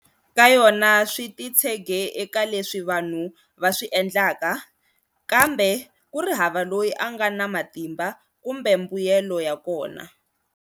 Ka yona swititshege eka leswi vanhu vaswi endlaka, kambe kuri hava loyi anga na matimba, kumbe mbuyelo yakona.